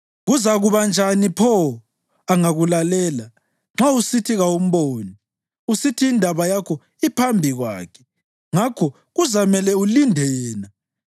Kuzakuba njani pho, angakulalela nxa usithi kawumboni, usithi indaba yakho iphambi kwakhe ngakho kuzamele ulinde yena,